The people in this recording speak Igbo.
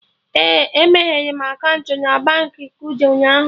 E meghere m akaụntụ na Baankị Kuda ụnyaahụ